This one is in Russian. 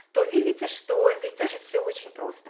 то видите что здесь тоже все очень просто